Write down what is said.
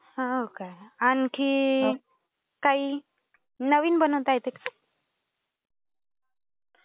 हो का? आणखी. काही नवीन बनवता येते का?